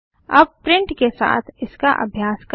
अब प्रिंट के साथ इसका अभ्यास करें